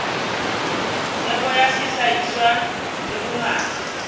theko ya sehlahiswa le bongata